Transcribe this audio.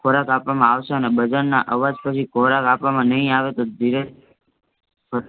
ખોરાક આપવામાં અવસે અને ના આવાજ પછી ખોરાક આપવામાં નઇ આવે તો ધીરજ પ્